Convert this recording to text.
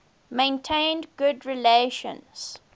maintained good relations